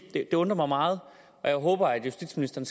at det undrer mig meget og jeg håber at justitsministeren